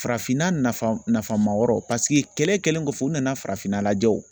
Farafinna nafa nafamayɔrɔ kɛlɛ kɛlen kɔfɛ u nana farafinna lajɛ o